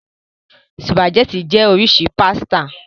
Spàgẹ́ti jẹ́ oríṣi pásítà.